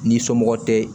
N'i somɔgɔ tɛ